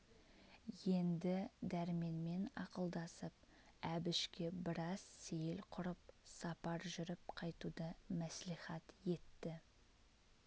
енді дәрменмен ақылдасып әбішке біраз сейіл құрып сапар жүріп қайтуды мәслихат етті